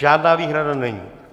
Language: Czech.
Žádná výhrada není.